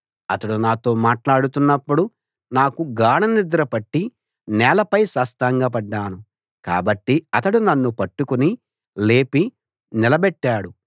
అతడు నాతో మాట్లాడుతున్నప్పుడు నాకు గాఢనిద్ర పట్టి నేలపై సాష్టాంగపడ్డాను కాబట్టి అతడు నన్ను పట్టుకుని లేపి నిలబెట్టాడు